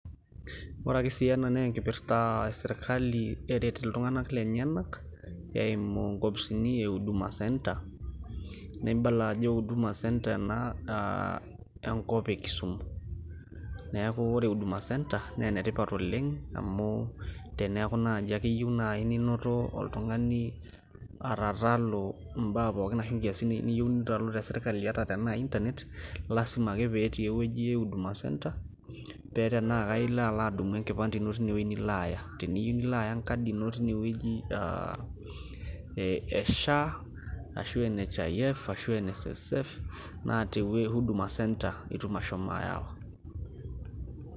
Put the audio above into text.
Ore ake si ena na enkipirta ah esirkali eret iltung'anak lenyanak, eimu inkopisini e huduma centre. Nibala ajo huduma centre ena ah enkop e Kisumu. Neeku ore huduma centre ,naa enetipat oleng' amu teneeku naji ake yieu nai ninoto oltung'ani atatalu imbaa pookin ashu nkiasin niyieu nitalu te sirkali, ata tenaa Internet ,lasima ake petii ewueji e huduma centre ,pe tenaa ka ilo alo adung'u enkipande ino teinewueji nilo aaya. Teniyieu nilo aya enkadi ino teinewueji ah e SHA ashu NHIF ashu NSSF,na te huduma centre itum ashomo ayawa.